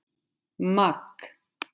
Magg